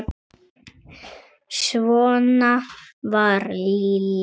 Svona var Lilja.